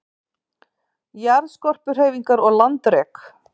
Jarðskorpuhreyfingar og landrek